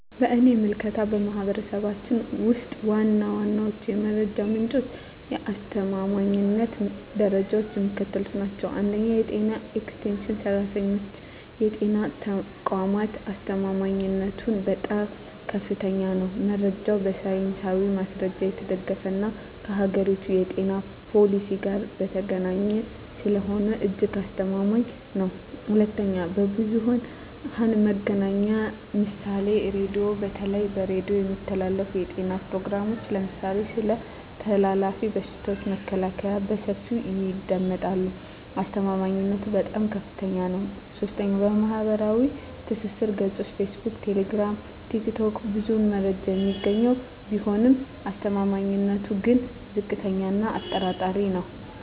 በእኔ ምልከታ፣ በማኅበረሰባችን ውስጥ ዋና ዋናዎቹ የመረጃ ምንጮችና የአስተማማኝነት ደረጃቸው የሚከተሉት ናቸው፦ 1. የጤና ኤክስቴንሽን ሠራተኞችና የጤና ተቋማት አስተማማኝነቱም በጣም ከፍተኛ ነው። መረጃው በሳይንሳዊ ማስረጃ የተደገፈና ከአገሪቱ የጤና ፖሊሲ ጋር የተገናኘ ስለሆነ እጅግ አስተማማኝ ነው። 2. ብዙኃን መገናኛ ምሳሌ ራዲዮ:- በተለይ በሬዲዮ የሚተላለፉ የጤና ፕሮግራሞች (ለምሳሌ ስለ ተላላፊ በሽታዎች መከላከያ) በሰፊው ይደመጣሉ። አስተማማኝነቱም በጣም ከፍታኛ ነው። 3. ማኅበራዊ ትስስር ገጾች (ፌስቡክ፣ ቴሌግራም፣ ቲክቶክ) ብዙ መረጃ የሚገኝ ቢሆንም አስተማማኝነቱ ግን ዝቅተኛ እና አጠራጣሪ ነው።